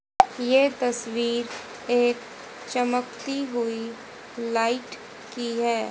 ये तस्वीर एक चमकती हुई लाईट की है।